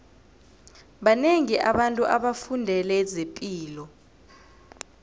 banengi abantu abafundele zepilo